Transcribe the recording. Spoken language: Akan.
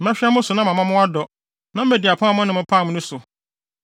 “ ‘Mɛhwɛ mo so na mama mo adɔ, na madi apam a me ne mo pamee no so.